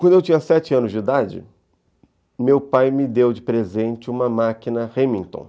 Quando eu tinha sete anos de idade, meu pai me deu de presente uma máquina Remington.